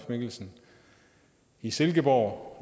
mikkelsen i silkeborg